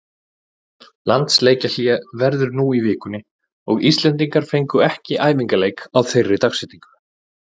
Landsleikjahlé verður nú í vikunni og Íslendingar fengu ekki æfingaleik á þeirri dagsetningu.